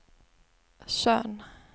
Tjörn